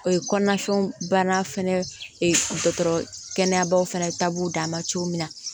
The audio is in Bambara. O ye kɔnɔna fɛnw banna fɛnɛ ee dɔgɔtɔrɔ kɛnɛyabaw fana ta b'u dama cogo min na